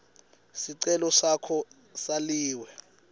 sicelo sakho saliwe